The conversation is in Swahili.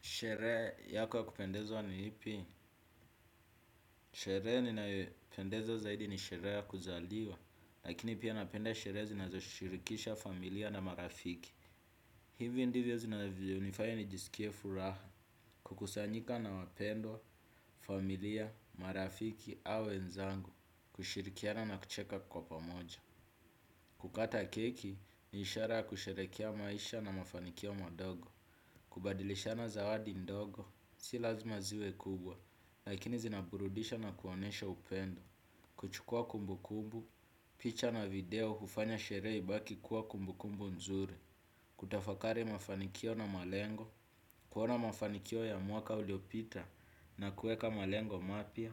Sherehe yako ya kupendezwa ni ipi? Sherehe ninayopendezwa zaidi ni sherehe ya kuzaliwa, lakini pia napenda sherehe zinazoshirikisha familia na marafiki. Hivi ndivyo zinavyonifanya nijisikie furaha kukusanyika na wapendwa, familia, marafiki au wenzangu, kushirikiana na kucheka kwa pamoja. Kukata keki ni ishara ya kusherehekea maisha na mafanikio madogo. Kubadilishana zawadi ndogo, si lazima ziwe kubwa, lakini zinaburudisha na kuonesha upendo. Kuchukua kumbukumbu, picha na video hufanya sherehe ibaki kuwa kumbukumbu nzuri. Kutafakari mafanikio na malengo, kuona mafanikio ya mwaka uliopita na kuweka malengo mapya